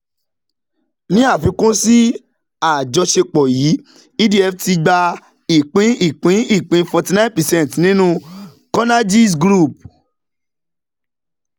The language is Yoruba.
ní àfikún sí àjọṣepọ̀ yìí edf ti gba ìpín ìpín ìpín 49 percent* nínú conergies-group.